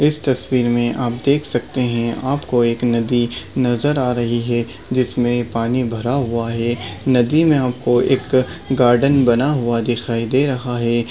इस तस्वीर मे आप देख सकते है आपको एक नदी नजर आ रही है जिसमे पानी भरा हुआ है नदी मे आपको एक गार्डन बना हुआ दिखाई दे रहा है।